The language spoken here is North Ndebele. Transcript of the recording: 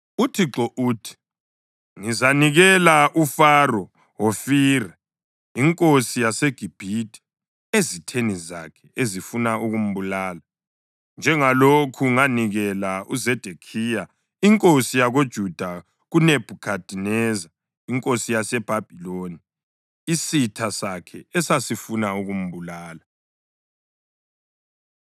UThixo uthi: ‘Ngizanikela uFaro Hofira inkosi yaseGibhithe ezitheni zakhe ezifuna ukumbulala, njengalokhu nganikela uZedekhiya inkosi yakoJuda kuNebhukhadineza inkosi yaseBhabhiloni, isitha sakhe esasifuna ukumbulala.’ ”